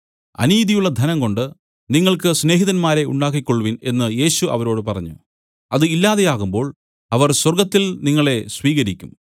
അനീതിയുള്ള ധനംകൊണ്ട് നിങ്ങൾക്ക് സ്നേഹിതന്മാരെ ഉണ്ടാക്കിക്കൊൾവിൻ എന്നു യേശു അവരോട് പറഞ്ഞു അത് ഇല്ലാതെയാകുമ്പോൾ അവർ സ്വർഗ്ഗത്തിൽ നിങ്ങളെ സ്വീകരിക്കും